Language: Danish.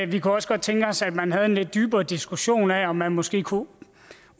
vi kunne også godt tænke os at man havde en lidt dybere diskussion af om man måske kunne